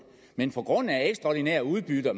men på grund af de ekstraordinære udbytter